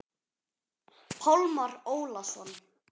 Pálmar Ólason.